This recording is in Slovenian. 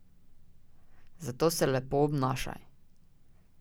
Zato se lepo obnašaj.